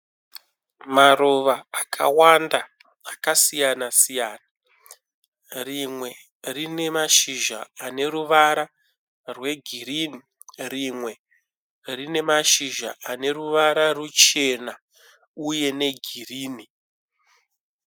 Maruva akawanda akasiyana siyana. Rimwe rinemashizha aneruvara rwegirinhi, rimwe rine mashizha aneruvara ruchena uye negirinhi.